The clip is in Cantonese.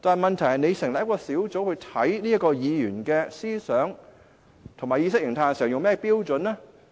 問題是，如果要成立一個委員會調查這位議員的思想和意識形態時採用甚麼標準呢？